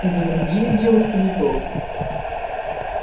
и за другими девушками тоже